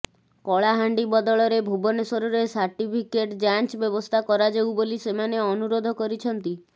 କଳାହାଣ୍ଡି ବଦଳରେ ଭୁବନେଶ୍ୱରରେ ସାର୍ଟିଫିକେଟ୍ ଯାଞ୍ଚ ବ୍ୟବସ୍ଥା କରାଯାଉ ବୋଲି ସେମାନେ ଅନୁରୋଧ କରିଛନ୍ତି